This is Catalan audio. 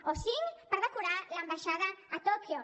o cinc per decorar l’ambaixada a tòquio